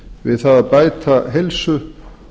við það að bæta heilsu